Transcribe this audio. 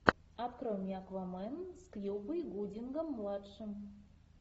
открой мне аквамен с кьюбой гудингом младшим